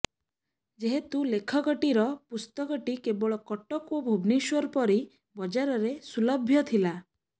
ଯେହେତୁ ଲେଖକଟିର ପୁସ୍ତକଟି କେବଳ କଟକ ଓ ଭୁବନେଶ୍ୱର ପରି ବଜାରରେ ସୁଲଭ୍ୟ ଥିଲା